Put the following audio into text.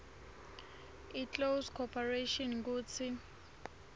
iclose corporation kutsi